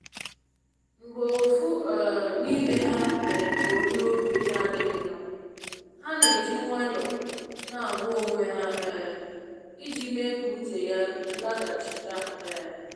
Mgbe ofu um n’ime ha mere ka onye obi n'adịghị mma, ha n'eji nwayo n'agwa onwe ha um i ji mee ka uche ya laghachita. um